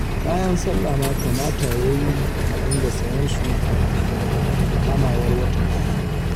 Kayan sallah ma kamata ya yi a dinga sayen su kafin kamawar watan azumi